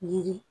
Yiri